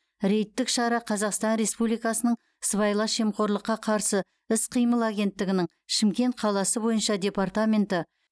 рейдтік шара қазақстан республикасының сыбайлас жемқорлыққа қарсы іс қимыл агенттігінің шымкент қаласы бойынша департаменті